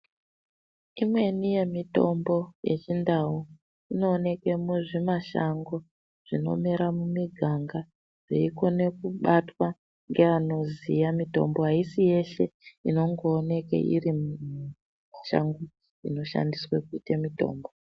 Imweni yemitombo yechindau inooneke muzvimashango zvinomere mumiganga zveikone kubatwa ngeanoziya mitombo haisi yeshe inongooneke iri mushango inoshandiswe kuite mitombo.